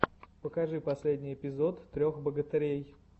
покажи последний эпизод трех богатырей